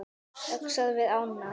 Öxar við ána